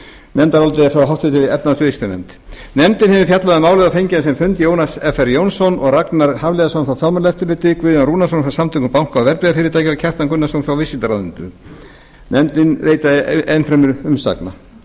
nefndarálitið er frá háttvirtri efnahags og viðskiptanefnd nefndin hefur fjallað um málið og fengið á sinn fund jónas fr jónsson og ragnar hafliðason frá fjármálaeftirlitinu guðjón rúnarsson frá samtökum banka og verðbréfafyrirtækja og kjartan gunnarsson frá viðskiptaráðuneytinu nefndinni leitaði ennfremur umsagna ég